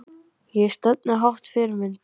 Ég stefni hátt Fyrirmynd?